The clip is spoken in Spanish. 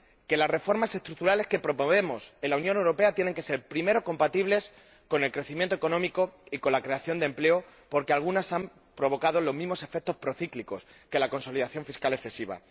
Que las reformas estructurales que promovemos en la Unión Europea tienen que ser, primero, compatibles con el crecimiento económico y con la creación de empleo, porque algunas han provocado los mismos efectos procíclicos que la consolidación fiscal excesiva.